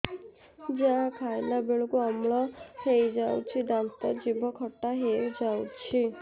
ଯାହା ଖାଇଲା ବେଳକୁ ଅମ୍ଳ ହେଇଯାଉଛି ଦାନ୍ତ ଜିଭ ଖଟା ହେଇଯାଉଛି